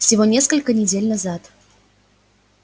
всего несколько недель назад